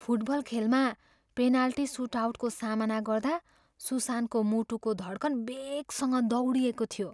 Football खेलमा penalty सुटआउटको सामना गर्दा सुसानको मुटुको धड्कन वेगसँग दौडिएको थियो।